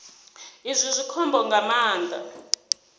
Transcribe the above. izwi zwi khombo nga maanḓa